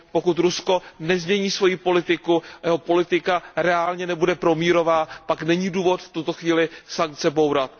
Pokud Rusko nezmění svoji politiku a jeho politika nebude reálně promírová, pak není důvod v tuto chvíli sankce bourat.